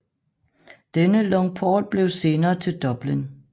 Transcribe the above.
Denne longphort blev senere til Dublin